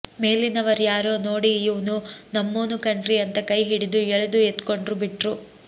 ಮೇಲಿನವರ್ಯಾರೋ ನೋಡಿ ಇವ್ನು ನಮ್ಮೋನು ಕಣ್ರೀ ಅಂತ ಕೈ ಹಿಡಿದು ಎಳೆದು ಎತ್ಕೊಂಡು ಬಿಟ್ರು